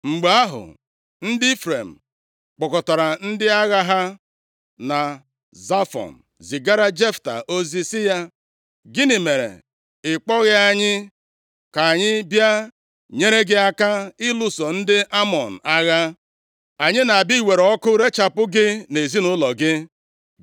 Mgbe ahụ, ndị Ifrem kpọkọtara ndị agha ha na Zafọn zigara Jefta ozi sị ya, “Gịnị mere ị kpọghị anyị ka anyị bịa nyere gị aka ịlụso ndị Amọn agha? Anyị na-abịa iwere ọkụ irechapụ gị na ezinaụlọ gị.”